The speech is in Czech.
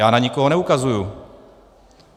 Já na nikoho neukazuji.